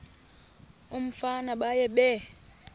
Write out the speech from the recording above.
umfana baye bee